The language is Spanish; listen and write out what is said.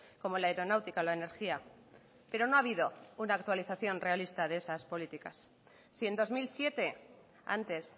como la aeronáutica la energía pero no ha habido una actualización realista de esas políticas si en dos mil siete antes